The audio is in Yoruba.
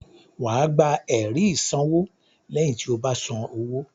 Wà á gba ẹ̀rí ìsanwó lẹ́yìn tí o bá san owó.